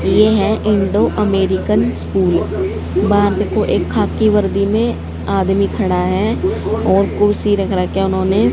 ये हैं Indo American school वहां देखो एक खाकी वर्दी में आदमी खड़ा है और कुर्सी रख रखी है उन्होंने--